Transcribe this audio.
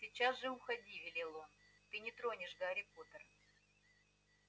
сейчас же уходи велел он ты не тронешь гарри поттера